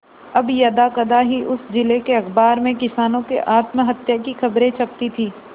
अब यदाकदा ही उस जिले के अखबार में किसानों के आत्महत्या की खबरें छपती थी